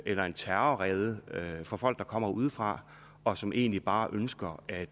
eller terrorrede for folk der kommer udefra og som egentlig bare ønsker at